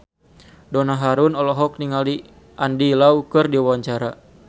Donna Harun olohok ningali Andy Lau keur diwawancara